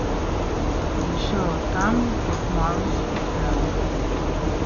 In še od tam bo kmalu spuhtelo.